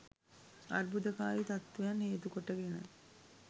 අර්බුදකාරි තත්ත්වයන් හේතු කොට ගෙන